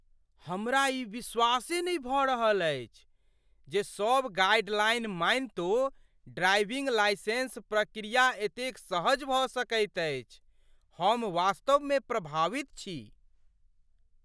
हमरा ई विश्वासे नहि भऽ रहल अछि जे सब गाइडलाइन मानितो ड्राइविंग लाइसेंस प्रक्रिया एतेक सहज भऽ सकैत अछि। हम वास्तवमे प्रभावित छी